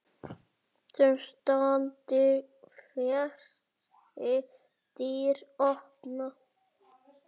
Þeim standi fleiri dyr opnar.